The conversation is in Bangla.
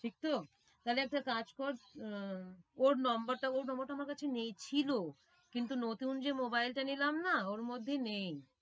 ঠিক তো? তাহলে একটা কাজ কর উম ওর নম্বর টা ওর নম্বরটা আমার কাছে নেই, ছিল কিন্তু নতুন যে mobile টা নিলাম না ওর মধ্যে নেই।